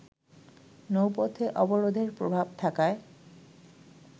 নৌপথে অবরোধের প্রভাব থাকায়